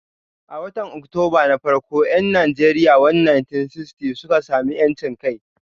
A watan Oktoba na farko 'yan Najeriya 1960 sun sami 'yancin kai.